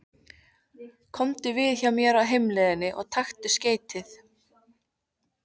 Komdu við hjá mér á heimleiðinni og taktu skeytið.